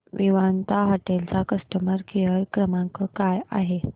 Vivanta hotel चा customer care क्रमांक काय आहे